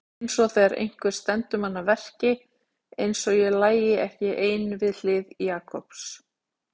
Einsog þegar einhver stendur mann að verki, einsog ég lægi ekki ein við hlið Jakobs.